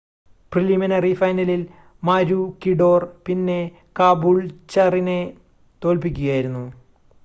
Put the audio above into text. preliminary ഫൈനലിൽ മാരൂക്കിഡോർ പിന്നെ കാബൂൾച്ചറിനെ തോൽപ്പിക്കുകയായിരുന്നു